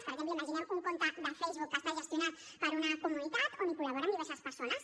per exemple imaginem un compte de facebook que està gestionat per una comunitat on col·laboren diverses persones